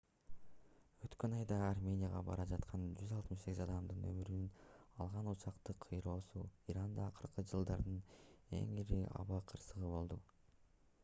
өткөн айда арменияга бара жаткан 168 адамдын өмүрүн алган учактын кыйроосу иранда акыркы жылдардын эң ири аба кырсыгы болду